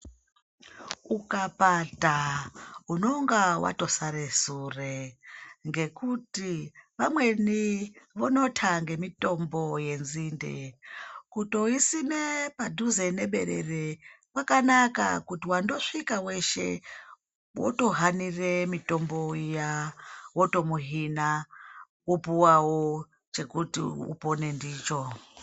Ukapata unonga watosara sure ngekuti vamweni vonota ngemitombo yenzinde. Kutoisime padhuze neberere kwakanaka ngekuti wandosvika weshe wotohanira mitombo iya wotomuhina wopuwawo chekuti upone ndicho.